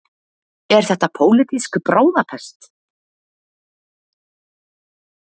Er þetta pólitísk bráðapest?